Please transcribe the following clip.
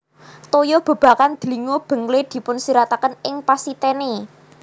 Toya bebakan dlingo benglé dipunsirataken ing pasitène